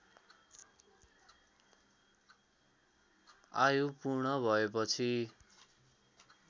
आयु पूर्ण भएपछि